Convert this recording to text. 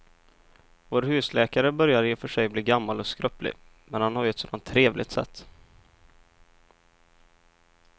Vår husläkare börjar i och för sig bli gammal och skröplig, men han har ju ett sådant trevligt sätt!